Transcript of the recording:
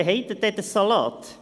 Und dann haben Sie den Salat!